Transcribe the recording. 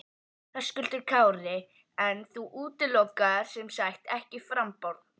Höskuldur Kári: En þú útilokar sem sagt ekki framboð?